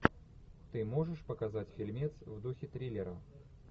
ты можешь показать фильмец в духе триллера